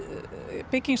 bygging